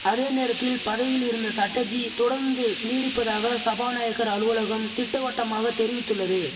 அதே நேரத்தில் பதவியில் இருந்த சட்டர்ஜி தொடந்து நீடிப்பதாக சபாநாயகர் அலுவலகம் திட்டவட்டமாக தெரிவித்துள்ளது